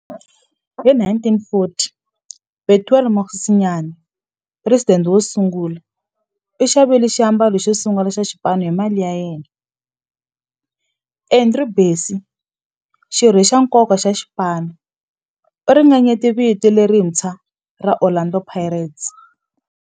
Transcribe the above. Hi 1940, Bethuel Mokgosinyane, president wosungula, u xavile xiambalo xosungula xa xipano hi mali ya yena. Andrew Bassie, xirho xa nkoka xa xipano, u ringanyete vito lerintshwa ra Orlando Pirates.